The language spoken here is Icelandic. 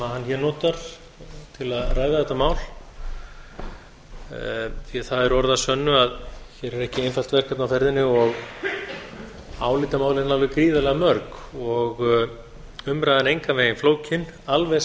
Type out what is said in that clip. hann hér notar til að ræða þetta mál því það er orð að sönnu að hér er ekki einfalt verkefni á ferðinni og álitamálin alveg gríðarlega mörg og umræðan engan veginn flókin alveg